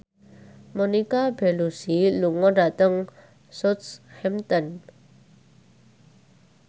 Monica Belluci lunga dhateng Southampton